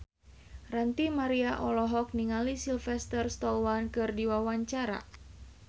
Ranty Maria olohok ningali Sylvester Stallone keur diwawancara